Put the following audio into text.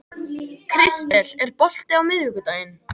Kristel, er bolti á miðvikudaginn?